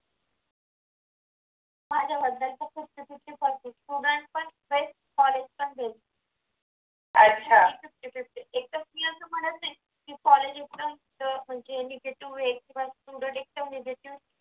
माझ्याबद्दल पण fifty fifty percentstudent पण best कॉलेज पण best एकदम fifty fifty एकदम मी असं म्हणत नाही म्हणजे कॉलेज इतकं म्हणजे negative आहे मग student एकदम negative